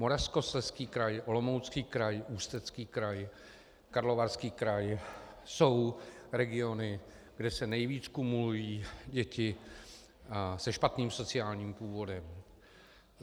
Moravskoslezský kraj, Olomoucký kraj, Ústecký kraj, Karlovarský kraj jsou regiony, kde se nejvíc kumulují děti se špatným sociálním původem.